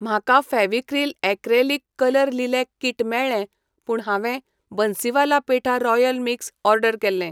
म्हाका Fevicryl acrylic colour lilac kit मेळ्ळें पूण हांवें Bansiwala petha royal mix order केल्लें.